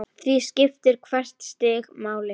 Því skiptir hvert stig máli.